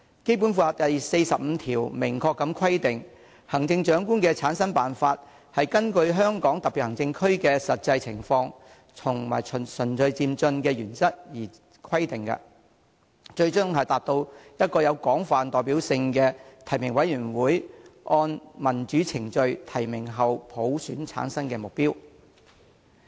《基本法》第四十五條明確規定："行政長官的產生辦法根據香港特別行政區的實際情況和循序漸進的原則而規定，最終達至由一個有廣泛代表性的提名委員會按民主程序提名後普選產生的目標。